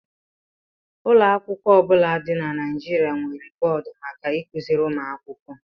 Ụlọ akwụkwọ ọ bụla dị na Nigeria nwere bọọdụ maka ịkụziri ụmụ akwụkwọ